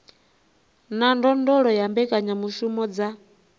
na ndondolo ya mbekanyamushumo dza